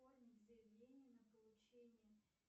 оформить заявление на получение